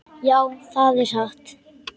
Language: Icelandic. Já, það er satt.